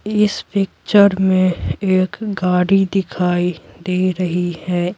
इस पिक्चर में एक गाड़ी दिखाई दे रही है।